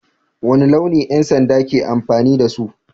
Wane launi 'yan sanda ke amfani da su?